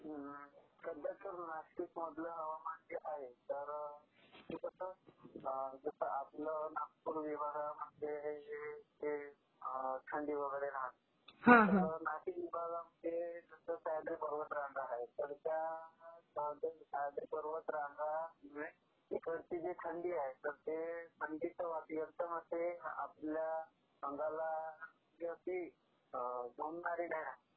सध्या तर नाशिक मधलं हवामान जे आहे तर ते कसं जसं आपलं नागपूर विभागामध्ये ते थंडी वगैरे राहते. तर नाशिक विभागामध्ये सह्याद्री पर्वतरांगा आहेत, तर सह्याद्री पर्वतरांगामुळे इकडची जी थंडी आहे तर ते थंडीचे नियंत्रण असं ते आपल्या अंगाला ती अशी झोंबणारी नाहीये.